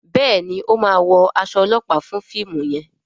Béèni o má wọ as olopa fún fíìmù yen.